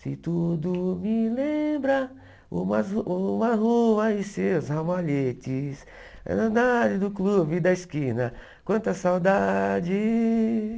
Se tudo me lembra, umas ru uma rua e seus ramalhetes, do clube da esquina, quanta saudade.